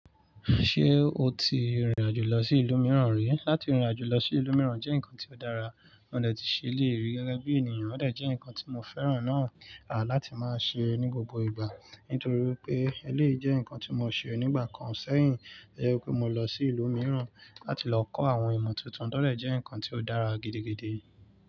Ṣé o ti rìnrìn àjò lọ sí ìlú mìíràn rí? Lati rìnrìn àjò lọ sí ìlú mìíràn jẹ́ nǹkan tí ó dára, wọ́n dẹ̀ tii ṣe léèrí gẹ́gẹ́ bí ènìyàn, wọ́n dẹ̀ jẹ́ ǹkan tí mo fẹ́ràn náà láti máa ṣe ní gbogbo ìgbà. Nítorí pé eléyi jẹ́ ǹkan tí mo ṣe ní ìgbà kan sẹ́yìn, to jẹ́ pé mo lọ sí ìlú mìíràn láti lọ kọ́ àwọn ìmọ̀ tuntun to dẹ́ jẹ́ ǹkan tí ó dára gidigidi.